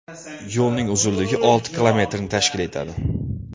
Yo‘lning uzunligi olti kilometrni tashkil etadi.